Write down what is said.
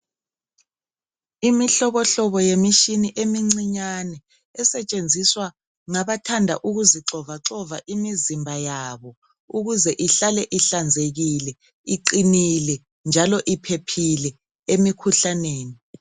Imihlobohobo yemishini emincinyane, esetshenziswa ngabathanda ukuzixovaxova imizimba yabo ukuze ihlale ihlanzekile, iqinile njalo iphephile emkhuhlaneni.